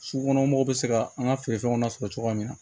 Sugukɔnɔmɔgɔw bɛ se ka an ka feere fɛnw na sɔrɔ cogoya min na